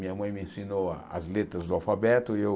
Minha mãe me ensinou a as letras do alfabeto e eu...